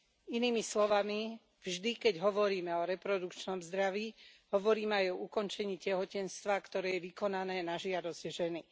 Inými slovami, vždy, keď hovoríme o reprodukčnom zdraví, hovoríme aj o ukončení tehotenstva, ktoré je vykonané na žiadosť ženy.